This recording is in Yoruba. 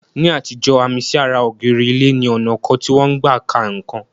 Ní àtijọ́, àmì sí ara ògiri ilé ni ọnà kan tí wọ́n n gbà ka nǹkan.